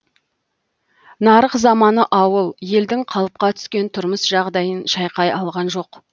нарық заманы ауыл елдің қалыпқа түскен тұрмыс жағдайын шайқай алған жоқ